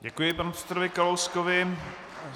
Děkuji panu předsedovi Kalouskovi.